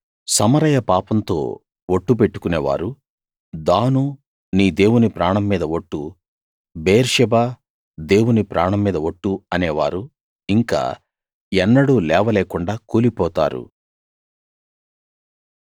సమరయ పాపంతో ఒట్టు పెట్టుకునే వారు దాను నీ దేవుని ప్రాణం మీద ఒట్టు బెయేర్షెబా దేవుని ప్రాణం మీద ఒట్టు అనేవారు ఇంకా ఎన్నడూ లేవలేకుండా కూలిపోతారు